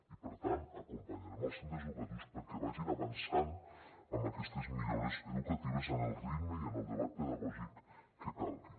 i per tant acompanyarem els centres educatius perquè vagin avançant amb aquestes millores educatives en el ritme i en el debat pedagògic que calgui